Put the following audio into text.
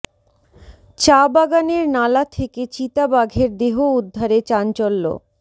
চা বাগানের নালা থেকে চিতা বাঘের দেহ উদ্ধারে চাঞ্চল্য